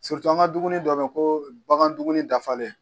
Siritu an ga dumuuni dɔ be ye ko bagan dumuni dafalen